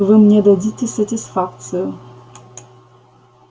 вы мне дадите сатисфакцию